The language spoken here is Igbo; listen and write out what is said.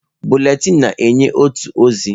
Bụletịn na-enye otu ozi.